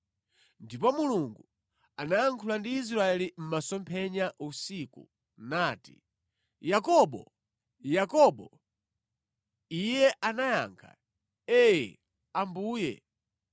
Ndipo Mulungu anayankhula ndi Israeli mʼmasomphenya usiku nati, “Yakobo! Yakobo!” Iye anayankha, “Ee, Ambuye.”